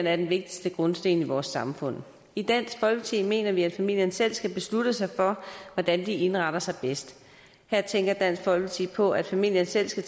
er den vigtigste grundsten i vores samfund i dansk folkeparti mener vi at familien selv skal beslutte sig for hvordan de indretter sig bedst her tænker dansk folkeparti på at familien selv skal